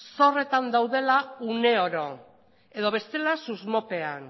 zorretan daudela une oro edo bestela susmopean